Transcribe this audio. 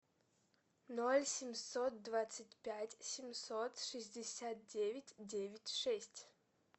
ноль семьсот двадцать пять семьсот шестьдесят девять девять шесть